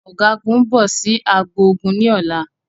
Ọ̀gágun ń bọ̀ sì agbo ogun ni ọ̀la